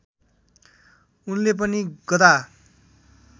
उनले पनि गदा